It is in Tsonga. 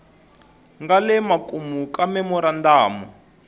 nga le makumu ka memorandamu